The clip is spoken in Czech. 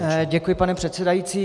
Děkuji, pane předsedající.